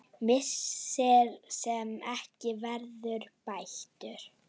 Missir sem ekki verður bættur.